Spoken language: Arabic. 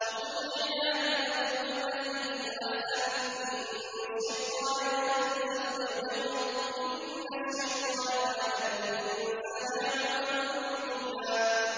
وَقُل لِّعِبَادِي يَقُولُوا الَّتِي هِيَ أَحْسَنُ ۚ إِنَّ الشَّيْطَانَ يَنزَغُ بَيْنَهُمْ ۚ إِنَّ الشَّيْطَانَ كَانَ لِلْإِنسَانِ عَدُوًّا مُّبِينًا